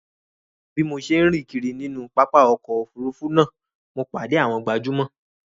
Bí mo ṣe ń rìn kiri nínú pápá ọkọ̀ Òfurufú náà mo pàdé àwọn gbajúmò